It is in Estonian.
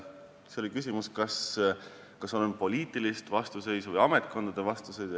Te küsisite, kas on poliitilist vastuseisu või ametkondade vastuseisu.